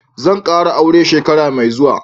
Zan kara aure shekara mai zuwa.